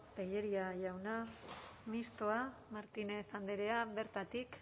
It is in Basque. tellería jauna mistoa martínez andrea bertatik